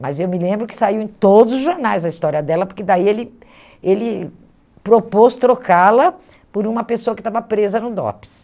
Mas eu me lembro que saiu em todos os jornais a história dela, porque daí ele ele propôs trocá-la por uma pessoa que estava presa no DOPS.